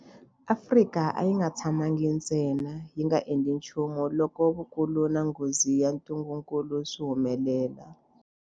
Afrika a yi nga tshamangi ntsena yi nga endli nchumu loko vukulu na nghozi ya ntungukulu swi humelela.